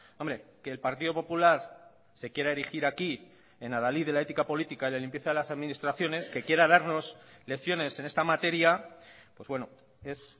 hombre que el partido popular se quiera erigir aquí en adalid de la ética política y en la limpieza de las administraciones que quiera darnos lecciones en esta materia pues bueno es